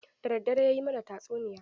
Da daddare ya yi mana tatsuniya.